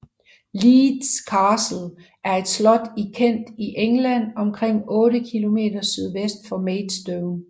Leeds Castle er et slot i Kent i England omkring 8 km sydøst for Maidstone